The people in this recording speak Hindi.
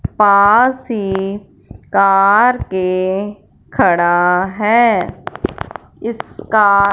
पास ही कार के खड़ा है इसका--